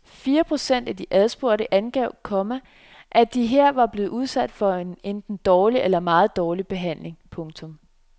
Fire procent af de adspurgte angav, komma at de her var blevet udsat for en enten dårlig eller meget dårlig behandling. punktum